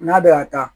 N'a bɛ ka taa